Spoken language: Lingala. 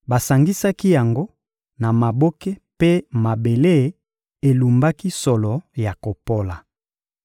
Basangisaki yango na maboke mpe mabele elumbaki solo ya kopola.